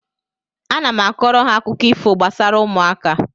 Ana m kọọrọ ha akụkọ ifo gbasara ụmụaka